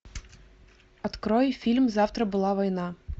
открой фильм завтра была война